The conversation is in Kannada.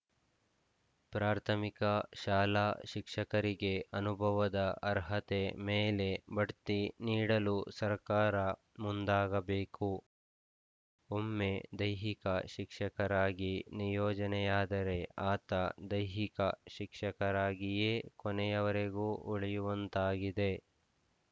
ಪ್ರಾಥಮಿಕ ಶಾಲಾ ಶಿಕ್ಷಕರಿಗೆ ಅನುಭವದ ಅರ್ಹತೆಯ ಮೇಲೆ ಬಡ್ತಿ ನೀಡಲು ಸರಕಾರ ಮುಂದಾಗಬೇಕು ಒಮ್ಮೆ ದೈಹಿಕ ಶಿಕ್ಷಕರಾಗಿ ನಿಯೋಜನೆಯಾದರೆ ಆತ ದೈಹಿಕ ಶಿಕ್ಷಕರಾಗಿಯೇ ಕೊನೆಯವರೆಗೂ ಉಳಿಯುವಂತಾಗಿದೆ